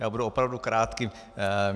Já budu opravdu krátký.